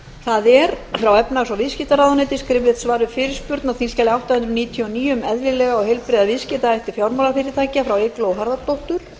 við fyrirspurnum frá efnahags og viðskiptaráðuneyti skriflegt var við fyrirspurn á þingskjali átta hundruð níutíu og níu um eðlilega og heilbrigða viðskiptahætti fjármálafyrirtækja frá eygló harðardóttur